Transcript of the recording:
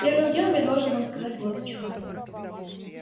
первым делом я должен вам сказать вот о чём